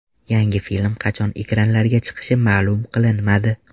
Yangi film qachon ekranlarga chiqishi ma’lum qilinmadi.